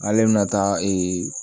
Ale bɛna taa